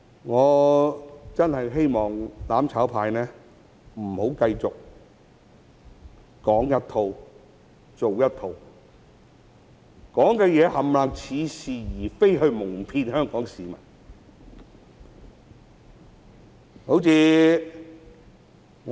我真的希望"攬炒派"不要繼續說一套、做一套，盡說似是而非的話來矇騙香港市民。